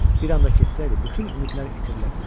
Bir anda kəsilsəydi, bütün ümidlər itirilə bilərdi.